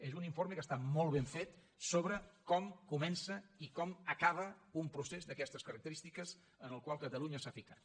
és un informe que està molt ben fet sobre com comença i com acaba un procés d’aquestes característiques en el qual catalunya s’ha ficat